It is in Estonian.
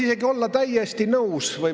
Head kolleegid!